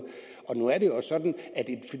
nu er det jo også sådan